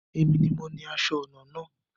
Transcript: Èmi ni mo ni aṣọ ọnà náà